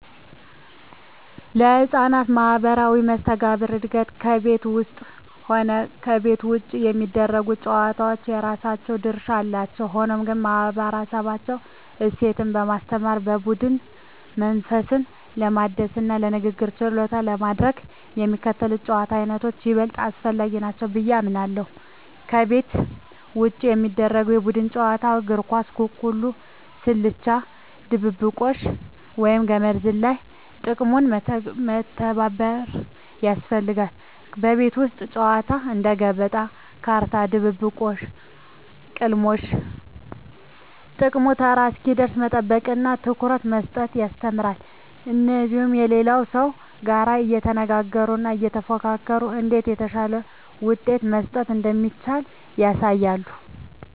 ለሕፃናት ማኅበራዊ መስተጋብር እድገት ከቤት ውስጥም ሆነ ከቤት ውጭ የሚደረጉ ጨዋታዎች የራሳቸው ድርሻ አላቸው። ሆኖም ግን፣ ማኅበረሰባዊ እሴትን ለማስተማር፣ የቡድን መንፈስን ለማዳበርና የንግግር ችሎታን ለማሳደግ የሚከተሉት የጨዋታ ዓይነቶች ይበልጥ አስፈላጊ ናቸው ብዬ አምናለሁ፦ ከቤት ውጭ የሚደረጉ የቡድን ጨዋታዎች እግር ኳስ፣ ኩኩሉ፣ ስልቻ ድብብቆሽ፣ ወይም ገመድ ዝላይ። ጥቅሙም መተባበርን ያስተምራሉ። የቤት ውስጥ ጨዋታዎች እንደ ገበጣ፣ ካርታ፣ ድብብቆሽ… ጥቅሙም ተራ እስኪደርስ መጠበቅንና ትኩረት መስጠትን ያስተምራሉ። እንዲሁም ከሌላው ሰው ጋር እየተነጋገሩና እየተፎካከሩ እንዴት የተሻለ ውሳኔ መስጠት እንደሚቻል ያሳያሉ።